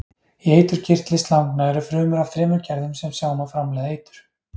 Í eiturkirtli slangna eru frumur af þremur gerðum sem sjá um að framleiða eitur.